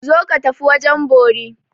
Zo ka tafi wajen bori!